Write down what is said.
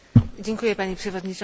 Pani Przewodnicząca!